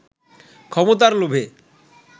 ক্ষমতার লোভে